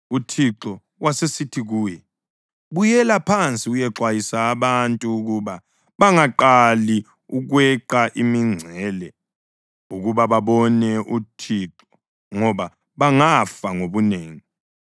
UThixo wasesithi kuye, “Buyela phansi uyexwayisa abantu ukuba bangaqali ukweqa imingcele ukuba babone uThixo ngoba bangafa ngobunengi.